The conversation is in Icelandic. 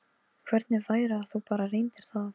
Símon er að þroska með sér smekk fyrir sígildri tónlist.